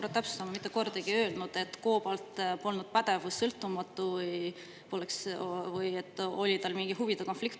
Ma täpsustan, et ma mitte kordagi ei öelnud, et COBALT polnud pädev või sõltumatu või et tal oli mingi huvide konflikt.